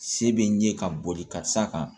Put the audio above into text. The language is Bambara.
Se bɛ n ye ka boli ka taa kan